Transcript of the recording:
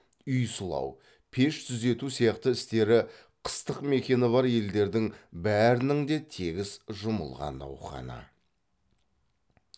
үй сылау пеш түзету сияқты істері қыстық мекені бар елдердің бәрінің де тегіс жұмылған науқаны